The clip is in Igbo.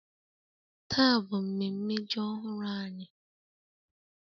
Taa bụ mmemme ji ọhụrụ anyị